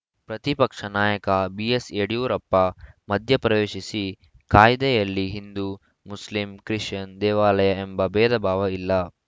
ಪ್ರತಿಪಕ್ಷ ನಾಯಕ ಬಿಎಸ್‌ ಯಡಿಯೂರಪ್ಪ ಮಧ್ಯಪ್ರವೇಶಿಸಿ ಕಾಯ್ದೆಯಲ್ಲಿ ಹಿಂದು ಮುಸ್ಲಿಂ ಕ್ರಿಶ್ಚಿಯನ್‌ ದೇವಾಲಯ ಎಂಬ ಭೇದಭಾವ ಇಲ್ಲ